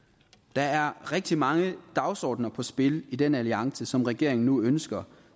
der er rigtig mange dagsordener på spil i den alliance som regeringen nu ønsker